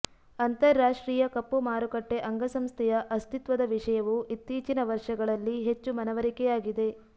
ಅಂತರರಾಷ್ಟ್ರೀಯ ಕಪ್ಪು ಮಾರುಕಟ್ಟೆ ಅಂಗಸಂಸ್ಥೆಯ ಅಸ್ತಿತ್ವದ ವಿಷಯವು ಇತ್ತೀಚಿನ ವರ್ಷಗಳಲ್ಲಿ ಹೆಚ್ಚು ಮನವರಿಕೆಯಾಗಿದೆ